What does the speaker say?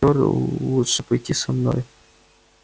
тебе поттер лучше пойти со мной